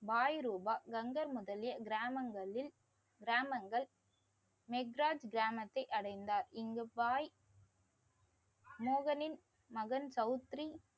வாய்ரூபா கங்கர் முதலிய கிராமங்களில் கிராமங்கள் மெகர் கிராமத்தை அடைந்தார். இங்கு வாய் மோகனின் மகன் தௌத்ரி